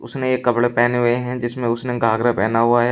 उसने एक कपड़े पहने हुए हैं जिसमें उसने घाघरा पहना हुआ है।